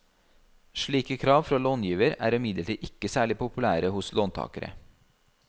Slike krav fra långiver er imidlertid ikke særlig populære hos låntakere.